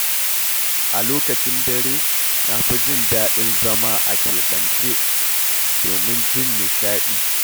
A lokacin dare, na fi jin daɗin zama a keɓance, domin jin nishaɗi.